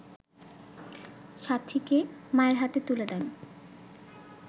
সাথীকে মায়ের হাতে তুলে দেন